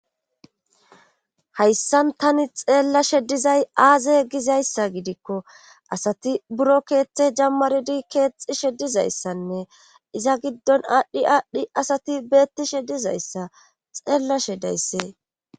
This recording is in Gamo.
hayssan tani xeellashe dizay aaze gizayssa gidikko asati buro keeththe jammaridi keexxishe dizayssanne iza giddon aadhdhi aadhdhi asati beettishe dizayssa xeellashe dayssee